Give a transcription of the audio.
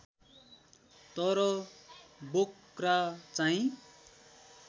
तर बोक्रा चाहिँ